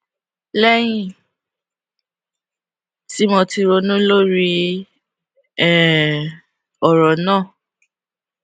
léyìn tí mo ti ronú lórí um òrò náà